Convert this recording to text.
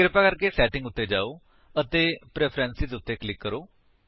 ਕਿਰਪਾ ਕਰਕੇ ਸੈਟਿੰਗ ਉੱਤੇ ਜਾਓ ਅਤੇ ਪ੍ਰੈਫਰੈਂਸਾਂ ਉੱਤੇ ਕਲਿਕ ਕਰੋ